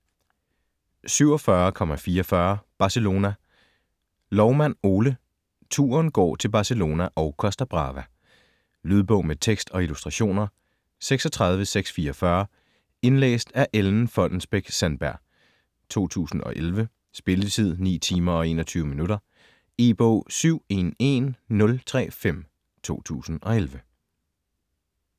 47.44 Barcelona Loumann, Ole: Turen går til Barcelona & Costa Brava Lydbog med tekst og illustrationer 36644 Indlæst af Ellen Fonnesbech-Sandberg, 2011. Spilletid: 9 timer, 21 minutter. E-bog 711035 2011.